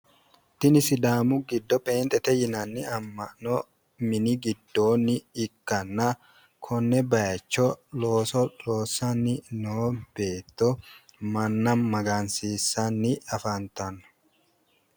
Tini sidaamu giddo pheenxete yinanni amma'no mini giddoonni ikkanna konne bayicho looso loonssanni noo beetto manna magansiissanni afantanno.